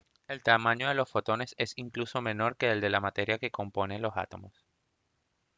¡el tamaño de los fotones es incluso menor que el de la materia que compone los átomos!